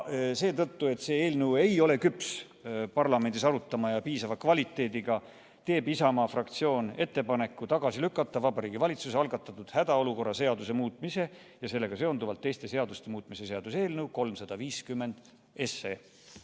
Seetõttu, et see eelnõu ei ole küps parlamendis arutamiseks ja piisava kvaliteediga, teeb Isamaa fraktsioon ettepaneku lükata Vabariigi Valitsuse algatatud hädaolukorra seaduse muutmise ja sellega seonduvalt teiste seaduste muutmise seaduse eelnõu 350 tagasi.